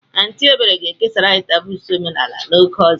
Aunty Ebere ga-ekesara anyị taboos omenala oge ọzọ.